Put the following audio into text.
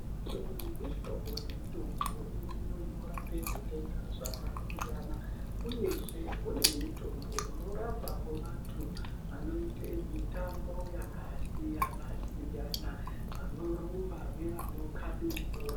Mihlobo nemihlobo yemitombo iriyo inorape zvitenda zvakasiyana, uyezve kune mitombo inorapavo vantu vanoite mitambo yakasiyana-siyana, vanorumba nevanokabe bhora.